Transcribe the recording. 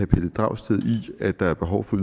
pelle dragsted i at der er behov for